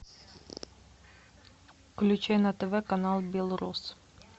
включай на тв канал белрос